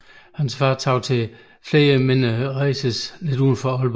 Hans far tog til flere mindre race lidt uden for Aalborg